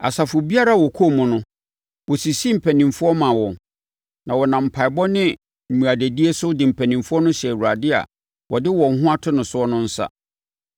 Asafo biara a wɔkɔɔ mu no, wɔsisii mpanimfoɔ maa wɔn; na wɔnam mpaeɛbɔ ne mmuadadie so de mpanimfoɔ no hyɛɛ Awurade a wɔde wɔn ho ato no so no nsa.